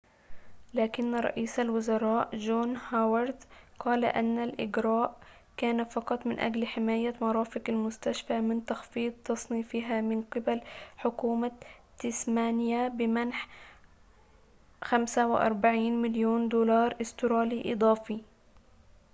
لكن رئيس الوزراء جون هوارد قال أن الإجراء كان فقط من أجل حماية مرافق المستشفى من تخفيض تصنيفها من قِبَل حكومة تسمانيا بمنح 45 مليون دولار أسترالي إضافي